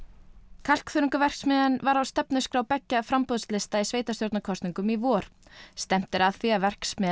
kalkþörungaverksmiðjan var á stefnuskrá beggja framboðslista í sveitarstjórnarkosningum í vor stefnt er að því að verksmiðjan